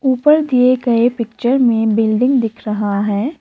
ऊपर दिए गए पिक्चर में बिल्डिंग दिख रहा है।